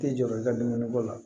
Tɛ jɔ i ka dumuni ko la